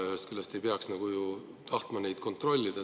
Ühest küljest me ei peaks tahtma neid kontrollida.